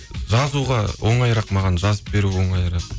жазуға оңайырақ маған жазып беру оңайырақ